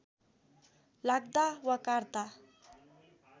लाग्दा वा काट्ता